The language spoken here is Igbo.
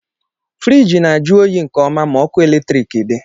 Friiji na-ajụ oyi nke ọma ma ọkụ latriki dị.